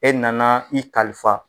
E nana i kalifa.